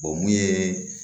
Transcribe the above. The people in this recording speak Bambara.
mun ye